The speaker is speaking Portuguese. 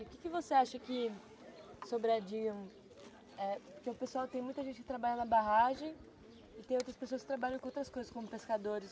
E o que que você acha que Sobradinho... Porque o pessoal tem muita gente que trabalha na barragem e tem outras pessoas que trabalham com outras coisas como pescadores.